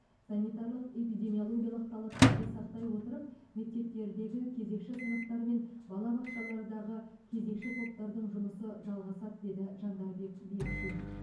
санитарлық эпидемиологиялық талаптарды сақтай отырып мектептердегі кезекші сыныптар мен балабақшалардағы кезекші топтардың жұмысы жалғасады деді жандарбек бекшин